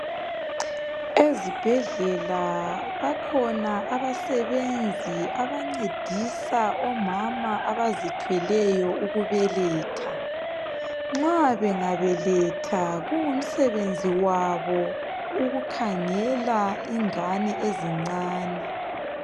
Ezibhedlela bakhona abasebenzi abancedisa omama abazithweleyo ukubeletha, nxa bengabeletha kungumsebenzi wabo ukukhangela ingane ezincane.